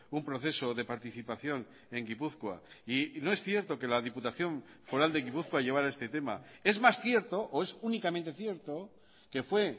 un proceso de participación en gipuzkoa y no es cierto que la diputación foral de gipuzkoa llevara este tema es más cierto o es únicamente cierto que fue